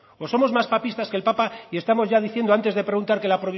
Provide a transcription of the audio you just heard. o somos más papistas que el papa y estamos ya diciendo antes de preguntar que